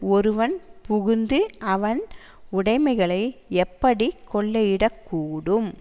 ஒருவன் புகுந்து அவன் உடைமைகளை எப்படி கொள்ளையிடக்கூடும்